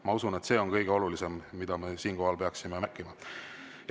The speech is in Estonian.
Ma usun, et see on kõige olulisem, mida me siinkohal peaksime märkima.